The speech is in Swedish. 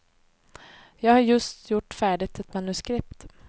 Jag har just gjort färdigt ett manuskript.